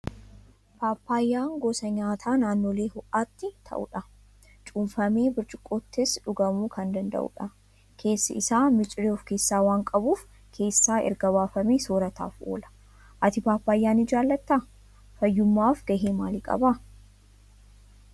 Paappaayyaan gosa nyaataa naannolee ho'aatti ta'udha. Cuunfamee burcuqqoottis dhugamuu kan danda'udha. Keessi isaa miciree of keessaa waan qabuuf, keessaa erga baafamee soorataaf oola. Ati paappaayyaa ni jaallattaa? Fayyummaaf gahee maalii qaba?